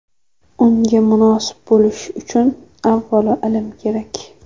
Unga munosib bo‘lish uchun avvalo ilm kerak.